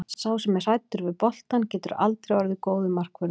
Sá sem er hræddur við boltann getur aldrei orðið góður markvörður.